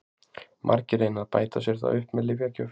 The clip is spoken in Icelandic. Margir reyna að bæta sér það upp með lyfjagjöf.